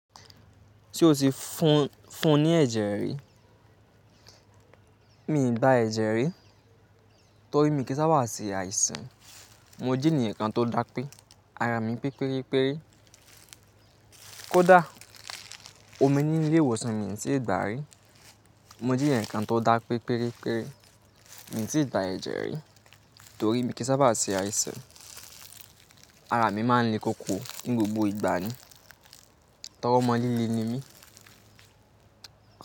Tí o ti fún–fun ní ẹ̀jẹ̀ rí, mi ì gba ẹ̀jẹ̀ rí torí mi kì í sábà ṣe àìsàn. Mo jẹ́ ènìyàn kan tó dá pẹ́, ara mi pẹ́ péré péré. Kódà, omi nínú ilé ìwòsàn mi tì gba rí. Mo jí ẹ̀ǹkan tó dá pé péré péré, mi tí ì gba ẹ̀jẹ̀ rí torí mi kì í sábà ṣe àìsàn. Ara mi máa ń le kókó ní gbogbo ìgbà ni. Tọrọ́ ọmọ líle ni mí.